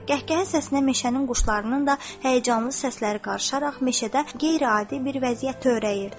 Qəhqəhə səsinə meşənin quşlarının da həyəcanlı səsləri qarışaraq meşədə qeyri-adi bir vəziyyət törəyirdi.